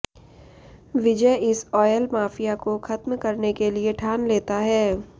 विजय इस oil mafia को खत्म करने के लिए ठान लेता है